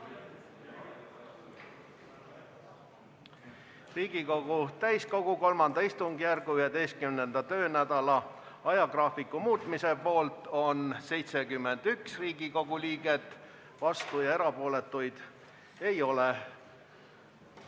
Hääletustulemused Riigikogu täiskogu III istungjärgu 11. töönädala ajagraafiku muutmise poolt on 71 Riigikogu liiget, vastuolijaid ja erapooletuid ei ole.